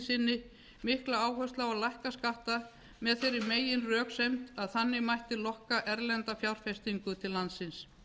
sinni mikla áherslu á að lækka skatta með þeirri meginröksemd að þannig mætti lokka erlenda fjárfestingu til landsins